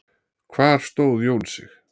Hvar stóð Jón Sig?